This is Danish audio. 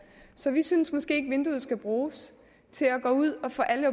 så vi synes måske ikke at vinduet skal bruges til at gå ud og få alle